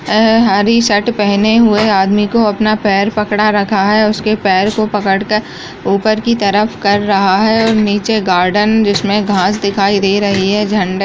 अ हरी शर्ट पहने हुए आदमी को अपना पैर पकड़ा रखा है उसके पैर को पकड़ कर ऊपर की तरफ कर रहा है ओर नीचे गार्डन जिसमें घास दिखाई दे रही है। झंड --